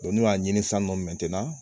n'u y'a ɲini san nɔ